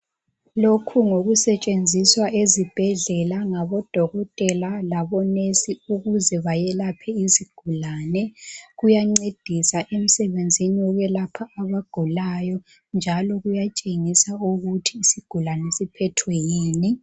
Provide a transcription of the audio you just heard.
Loku ngokusetshenziswa ezibhedlela ngabodokotela labonesi ukuze bayelaphe izigulane. Kuyancedisa emsebenzini wokuyelapha abagulayo njalo kuyatshengisa ukuthi isigulane siphethwe yini.